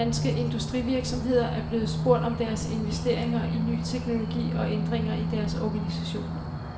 Fem danske industrivirksomheder er blevet spurgt om deres investeringer i ny teknologi og ændringer i deres organisation.